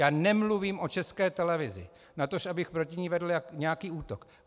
Já nemluvím o České televizi, natož abych proti ní vedl nějaký útok.